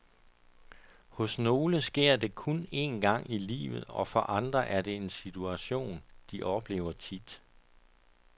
Hos nogle sker det kun en gang i livet, og for andre er det en situation, de oplever tit.